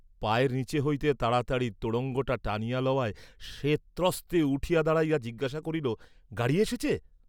পায়ের নীচে হইতে তাড়াতাড়ি তোড়ঙ্গটা টানিয়া লওয়ায় সে ত্রন্তে উঠিয়া দাঁড়াইয়া জিজ্ঞাসা করিল গাড়ী এসেছে?